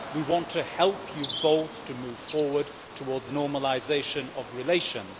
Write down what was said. We want to help you both to move forward towards normalisation of relations.'